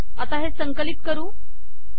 आता हे संकलित करू